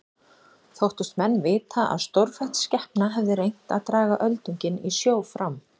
Þóttust menn vita að stórfætt skepna hefði reynt að draga öldunginn í sjó fram.